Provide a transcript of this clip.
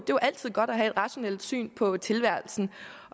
jo altid godt at have et rationelt syn på tilværelsen